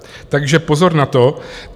Takže pozor na to.